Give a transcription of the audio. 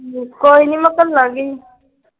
ਕੋਈ ਨਹੀਂ ਮੈਂ ਘਲਾਂਗੀ।